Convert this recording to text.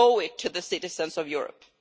We owe it to the citizens of Europe.